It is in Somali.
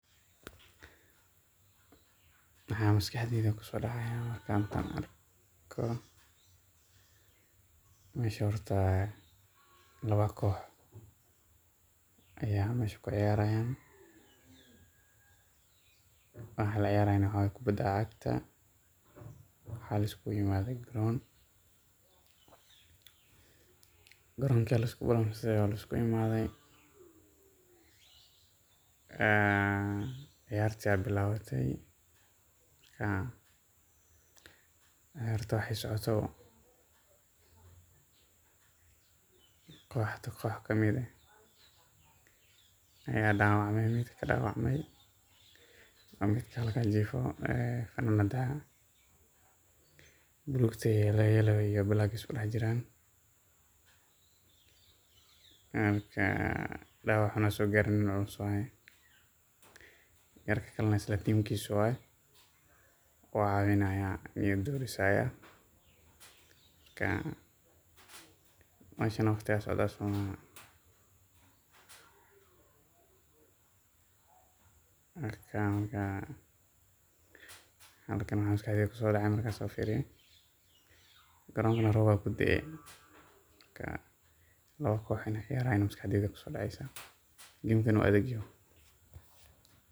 Maxa masqaxdeyda kusodacaya marka arkoh mesha horta lawa koob Aya mesha kuciyaraya waxa laciyarahayo waxawaye kubada cagta waxa lisku imathay karoon koronka lisku imathay ee ciyaarta bilawatay marka ciyaarta waxay socotobo kooxda koox kamit aah Aya dawacmay, midka dawacmay ee midkajifo lugta black isladaxjiran marka dawaca xuun sokay wuuxanusanaya yarkali Isla teemkis waaye kucawinaya niyada u diisaya marka meesha waqdi Aya socdaoh somaoho marka halkani waxa masqaxdeeyda kusodacaya marka sas u fiiriyoh koronka roob Aya kudaay marka lawa koox Ina ciyaarayan masqaxdeeyda kusodacta game kana oo adegyaho.